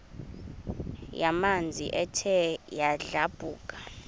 yamanzi ethe yadlabhuka